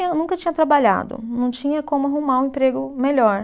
Nunca tinha trabalhado, não tinha como arrumar um emprego melhor.